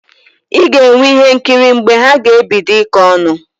Ị ga-enwe ihe nkiri mgbe ha ga-ebido ịkọ ọnụ